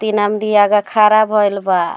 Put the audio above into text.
तीन आमदी आगे खड़ा भईल बा।